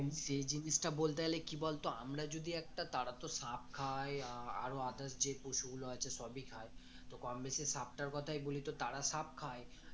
সেই জিনিসটা বলতে গেলে কি বলতো আমরা যদি একটা তারা তো সাপ খাই আরও others যে পশুগুলো আছে সবই খাই তো কম বেশি সাপটার কথাই বলি তো তারা সাপ খায়